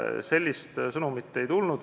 Sellist sõnumit ei tulnud.